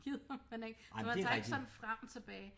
Gider man ikke så man tager ikke sådan frem tilbage